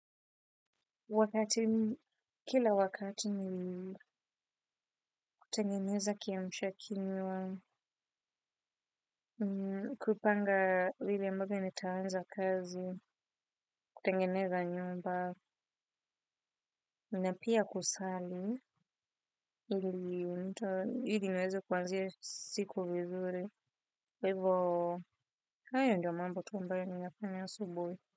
Wakati, kila wakati ni kutengeneza kiamsha kinywa kupanga vile ambavyo nitaanza kazi, kutengeneza nyumba, na pia kusali, ili ili nweze kuanzia siku vizuri. Kwa hivo, hayo ndo mambo tu ambayo ninafanya asubui.